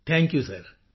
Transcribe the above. thank you ਸਿਰ